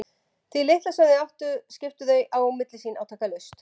Því litla sem þau áttu skiptu þau á milli sín átakalaust.